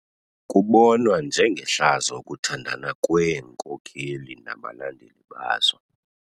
Kubonwa njengehlazo ukuthandana kweenkokeli nabalandeli bazo.